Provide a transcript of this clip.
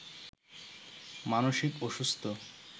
মানসিক অসুস্থ